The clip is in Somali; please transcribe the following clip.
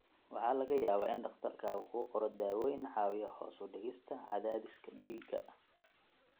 Waxaa laga yaabaa in dhakhtarkaagu kuu qoro daawooyin caawiya hoos u dhigista cadaadiska dhiigga.